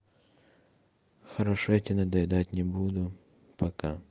хорошо я тебе надоедать не буду пока